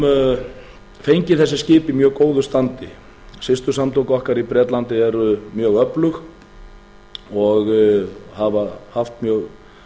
fengið þessi skip í mjög góðu standi systursamtök okkar í bretlandi eru mjög öflug og hafa haft mjög